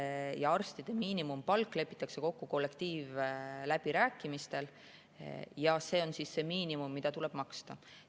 Õdede ja arstide miinimumpalk lepitakse kokku kollektiivläbirääkimistel ja see on see miinimum, mida tuleb maksta.